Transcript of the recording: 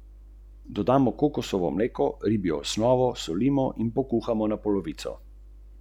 Povsem drugačno idejo za preživljanje prostega časa pa ima Julijas: "Organiziram tekmovanje v potenju.